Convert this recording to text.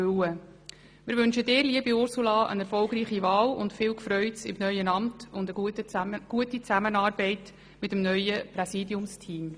Wir wünschen dir, liebe Ursula, eine erfolgreiche Wahl, viel «Gfreuts» im neuen Amt und gute Zusammenarbeit im neuen Präsidiumsteam.